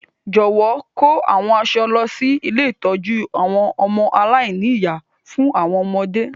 Jọ̀wọ́ kò àwọn aṣọ lọ si ilé ìtójú àwon ọmọ aláìní-ìyá fún àwọn ọmọdé.